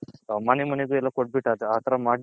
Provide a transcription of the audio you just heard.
ಆ ತರ ಮಾಡಿ